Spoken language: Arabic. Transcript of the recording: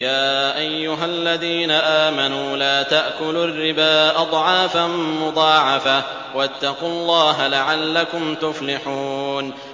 يَا أَيُّهَا الَّذِينَ آمَنُوا لَا تَأْكُلُوا الرِّبَا أَضْعَافًا مُّضَاعَفَةً ۖ وَاتَّقُوا اللَّهَ لَعَلَّكُمْ تُفْلِحُونَ